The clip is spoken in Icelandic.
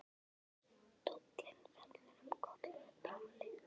Stóllinn fellur um koll með bramli.